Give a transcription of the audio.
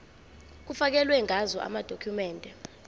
kufakelwe ngazo amadokhumende